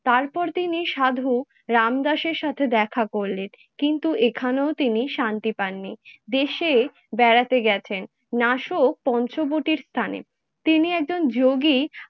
তারপর তিনি সাধক রামদাসের সাথে দেখা করলেন কিন্তু এখানেও তিনি শান্তি পাননি। দেশে বেড়াতে গেছেন . তিনি একজন যোগী